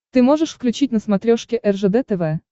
ты можешь включить на смотрешке ржд тв